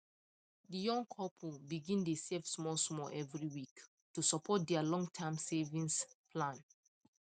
the young couple begin dey save smallsmall every week to support their longterm savings plan